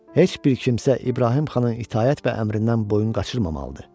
Heç bir kimsə İbrahim xanın itaət və əmrindən boyun qaçırmamalıdır.